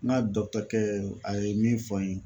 N ka dɔkutɛrikɛ a ye min fɔ an ye